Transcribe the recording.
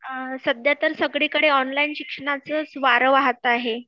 सध्या तर सगळीकडे ऑनलाइन शिक्षणाच च वारं वाहत आहे